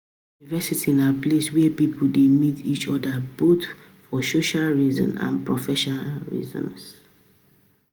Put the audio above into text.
university na place where pipo de meet each oda both for social reason and professional reason